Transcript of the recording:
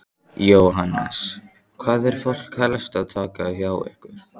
Jóhannes: Hvað er fólk helst að taka hjá ykkur?